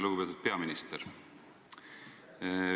Lugupeetud peaminister!